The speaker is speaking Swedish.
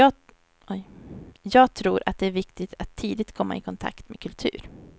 Jag tror att det är viktigt att tidigt komma i kontakt med kultur.